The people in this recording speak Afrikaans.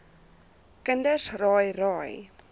kinders raai raai